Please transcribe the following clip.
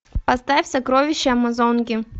поставь сокровища амазонки